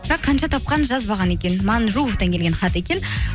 бірақ қанша тапқанын жазбаған екен манжуовтан келген хат екен